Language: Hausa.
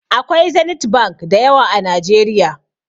Akwai Zenith Bank da yawa a Najeriya.